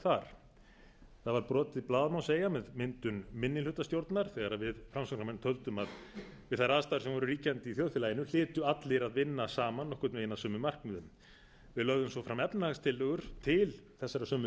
það var brotið blað má segja með myndun minnihlutastjórnar þegar við framsóknarmenn töldum að við þær aðstæður sem voru ríkjandi í þjóðfélaginu hlytu allir að vinna saman nokkurn veginn að sömu markmiðum við lögðum svo fram efnahagstillögur til þessara sömu